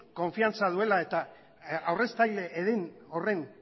konfidantza duela eta aurreztaile horien